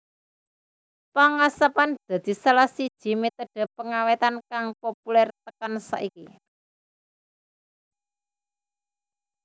Pengasapan dadi salah siji metode pengawétan kang populer tekan saiki